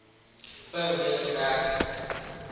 per week gewerk